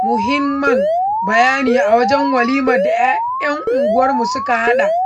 muhinman bayanai a wajen walimar da 'yan unguwar suka haɗa.